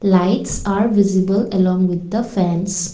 lights are visible along with the fans.